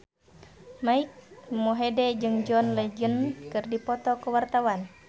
Mike Mohede jeung John Legend keur dipoto ku wartawan